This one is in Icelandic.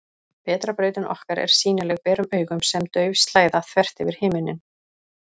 Vetrarbrautin okkar er sýnileg berum augum sem dauf slæða, þvert yfir himinninn.